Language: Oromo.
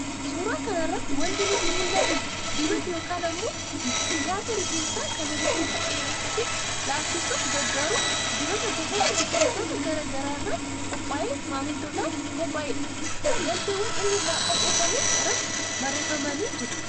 Suuraa kana irraa wanti nutti mul'atu, dibata yookaan ammoo nyaata rifeensaa kan rifeensa dheeressuu fi laaffisuuf gargaaru dibata gosoota biqiltootaa garaa garaa irraa qophaa'ee maamiltootaaf qophaa'edha. Galteewwan inni irraa qopheeffames irratti barreeffamanii jiru.